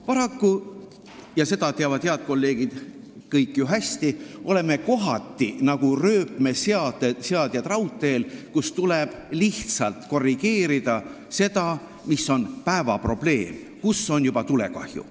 Paraku – seda teavad head kolleegid kõik ju hästi – oleme kohati nagu rööpmeseadjad raudteel, kus tuleb lihtsalt korrigeerida seda, mis on päevaprobleem, tegutseda seal, kus on juba tulekahju.